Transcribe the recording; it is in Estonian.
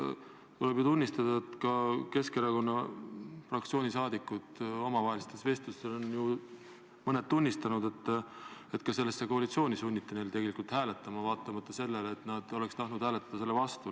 Tuleb tunnistada, et mõned Keskerakonna fraktsiooni liikmed on omavahelistes vestlustes öelnud, et ka selle koalitsiooni poolt neid tegelikult sunniti hääletama, vaatamata sellele, et nad oleks tahtnud hääletada selle vastu.